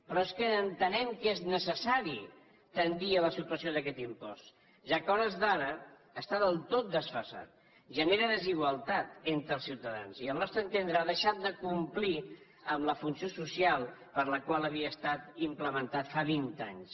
però és que entenem que és necessari tendir a la supressió d’aquest impost ja que a hores d’ara està del tot desfasat genera desigualtat entre els ciutadans i al nostre entendre ha deixat de complir la funció social per la qual havia estat implementat fa vint anys